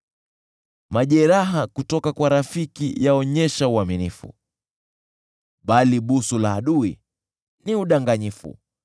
Majeraha kutoka kwa rafiki yaonyesha uaminifu, bali kubusu kwa adui ni kwingi sana.